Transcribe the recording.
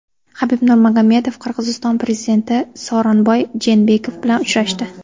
Habib Nurmagomedov Qirg‘iziston prezidenti Sooronbay Jeenbekov bilan uchrashdi.